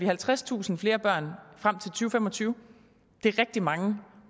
halvtredstusind flere børn frem fem og tyve det er rigtig mange